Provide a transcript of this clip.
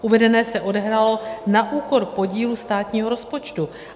Uvedené se odehrálo na úkor podílu státního rozpočtu.